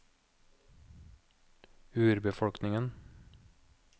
urbefolkningen